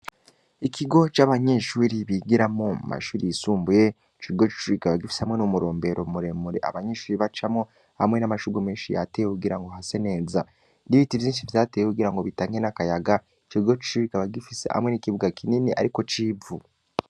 Ikigo c’abanyeshuri bigiramwo mu mashuri yisumbuye, ico kigo c’ishuri kikaba gifise hamwe n’umurombero muremure abanyeshure bacamwo, hamwe n’amashurwe menshi yatewe kugira ngo hase neza; n’ibiti vyinshi vyatewe kugira ngo bitange n’akayaga, ico kigo c’ishuri kikaba gifise hamwe n’ikibuga kinini ariko c’ivu.